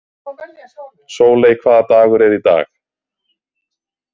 Sóley, hvaða dagur er í dag?